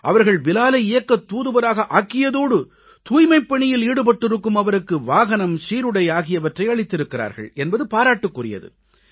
அவர்கள் பிலாலை இயக்கத் தூதுவராக ஆக்கியதோடு தூய்மைப்பணியில் ஈடுபட்டிருக்கும் அவருக்கு வாகனம் சீருடை ஆகியவற்றை அளித்திருக்கிறார்கள் என்பது பாராட்டுக்குரியது